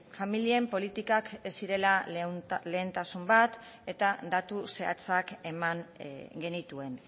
familien politikak ez zirela lehentasun bat eta datu zehatzak eman genituen